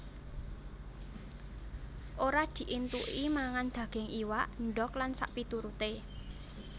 Ora dientuki mangan daging iwak endog lan sakpituruté